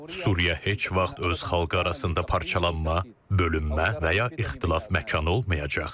Suriya heç vaxt öz xalqı arasında parçalanma, bölünmə və ya ixtilaf məkanı olmayacaq.